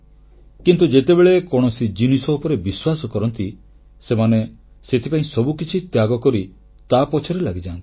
କିନ୍ତୁ ଯେତେବେଳେ କୌଣସି ଜିନିଷ ଉପରେ ବିଶ୍ୱାସ କରନ୍ତି ସେମାନେ ସେଥିପାଇଁ ସବୁକିଛି ତ୍ୟାଗ କରି ତାପଛରେ ଲାଗିଯାନ୍ତି